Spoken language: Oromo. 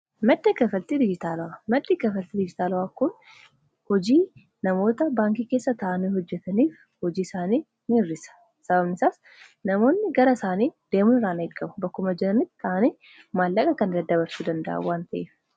Maddii kanfaaltii dijitaalawaa kun hojii namoota baankii keessa ta'aanii hojjeetaniif hojii isaanii ni hir'isa. Sababni isaas namoonni gara biraa deemun irraa in eegaamu. Bakkuma jirannitti ta'anii maallaqa kana daddabarsuu danda'a waan ta'eef.